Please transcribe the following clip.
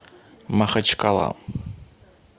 махачкала